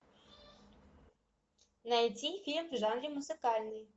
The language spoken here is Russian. найти фильм в жанре музыкальный